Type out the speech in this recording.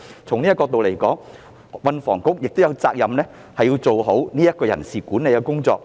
從這個角度而言，運房局有責任做好人事管理的工作。